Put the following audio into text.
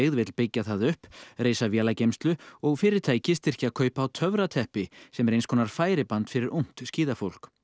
vill byggja það upp reisa vélageymslu og fyrirtæki styrkja kaup á sem er eins konar færiband fyrir ungt skíðafólk